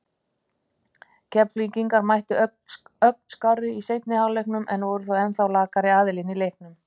Keflvíkingar mættu ögn skárri í seinni hálfleikinn en voru þó ennþá lakari aðilinn í leiknum.